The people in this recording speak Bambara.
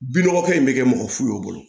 Binɔgɔkɛ in bɛ kɛ mɔgɔ fu ye o bolo